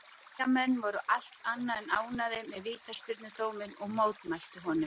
Eyjamenn voru allt annað en ánægður með vítaspyrnudóminn og mótmæltu honum.